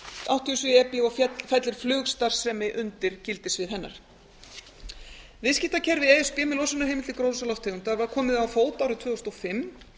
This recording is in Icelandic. áttatíu og sjö e b og fellur flugstarfsemi undir gildissvið hennar viðskiptakerfi e s b með losunarheimildir gróðurhúsalofttegunda var komið á fót árið tvö þúsund og fimm